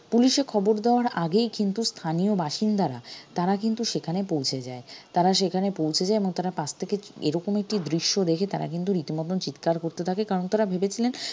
পুলিশে খবর দেওয়ার আগেই কিন্তু স্থানীয় বাসিন্দারা তারা কিন্তু সেখানে পৌঁছে যায় তারা সেখানে পৌঁছে যায় এবং তারা পাশ থেকে এরকম একটি দৃশ্য দেখে তারা কিন্তু রীতিমতন চিৎকার করতে থাকে কারণ তারা ভেবেছিলেন